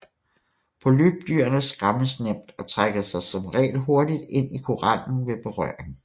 Polypdyrene skræmmes nemt og trækker sig som regel hurtigt ind i korallen ved berøring